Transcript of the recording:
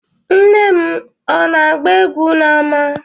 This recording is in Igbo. Nne m ọ na-agba egwu n’ama?